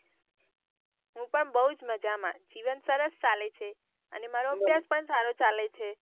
હું પણ બહુત મજામાં જીવન સરસ ચાલે છે અને મારો અભ્યાસ પણ સારો ચાલે છે.